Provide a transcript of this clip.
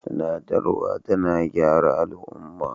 Tunasarwa tana gyara al'umma.